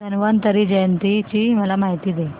धन्वंतरी जयंती ची मला माहिती दे